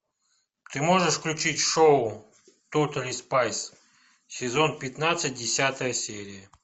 ты можешь включить шоу тотали спайс сезон пятнадцать десятая серия